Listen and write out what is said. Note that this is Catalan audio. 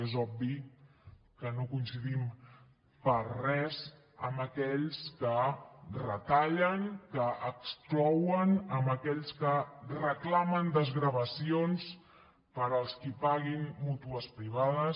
és obvi que no coincidim per res amb aquells que retallen que exclouen amb aquells que reclamen desgravacions per als qui paguin mútues privades